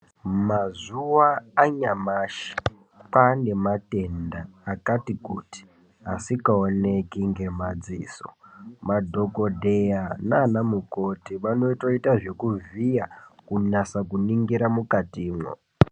Mazuva anyamashi kwaa nematenda akati kuti asikaoneki ngemadziso. Madhokodheya nanamukoti vanotoita zvekuvhiya kunasa kuningira mwukatimwo.